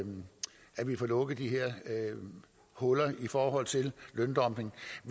få lukket de her huller i forhold til løndumping